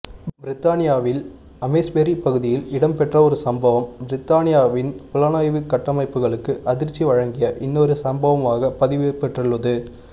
பிரித்தானியாவில் அமெஸ்பெரி பகுதியில் இடம்பெற்ற ஒரு சம்பவம் பிரித்தானியாவின் புலனாய்வு கட்டமைப்புகளுக்கு அதிர்ச்சி வழங்கிய இன்னொரு சம்பவமாக பதிவுபெற்றுள்ளது